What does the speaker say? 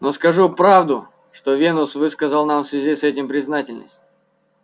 но скажу правду что венус выказал нам в связи с этим признательность